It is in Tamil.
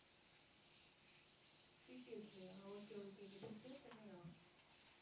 CTS லையா okay okay இங்க திருச்சியா சென்னையா